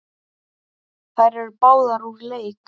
Þær eru báðar úr leik.